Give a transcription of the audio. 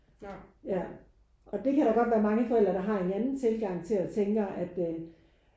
Ja og det kan da godt være mange forældre der har en anden tilgang til og tænker at øh